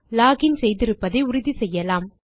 lock in செய்திருப்பதை உறுதிசெய்யலாம்